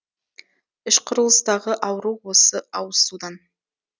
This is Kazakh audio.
іш құрылыстағы ауру осы ауызсудан